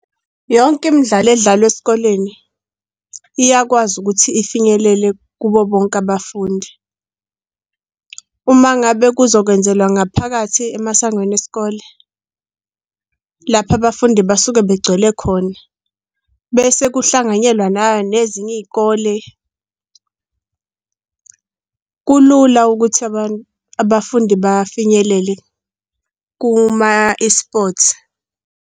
Yonke imidlalo edlalwa esikoleni iyakwazi ukuthi ifinyelele kubo bonke abafundi. Uma ngabe kuzokwenzelwa ngaphakathi emasangweni esikole, lapha abafundi basuke begcwele khona, bese kuhlanganyelwa na nezinye iy'kole. Kulula ukuthi abafundi bafinyelele kuma-E_Sports.